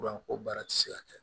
Fura ko baara ti se ka kɛ